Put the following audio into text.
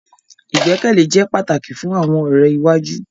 Igbekele jẹ pataki fun awọn ọrẹ iwaju